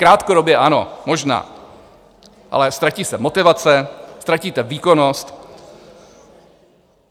Krátkodobě ano, možná, ale ztratí se motivace, ztratíte výkonnost.